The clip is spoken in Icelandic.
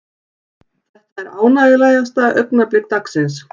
Þetta er ánægjulegasta augnablik dagsins.